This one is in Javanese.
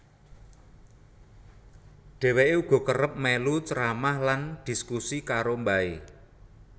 Dheweke uga kerep melu ceramah lan dhiskusi karo mbahe